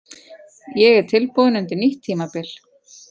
Ég er tilbúinn undir nýtt tímabil.